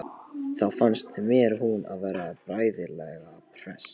Þá fannst mér hún vera bærilega hress.